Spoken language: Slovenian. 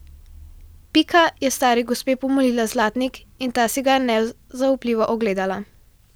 Pika je stari gospe pomolila zlatnik in ta si ga je nezaupljivo ogledala.